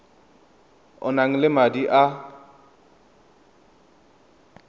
o nang le madi a